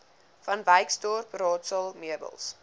vanwyksdorp raadsaal meubels